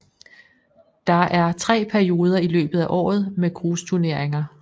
Der er tre perioder i løbet af året med grusturneringer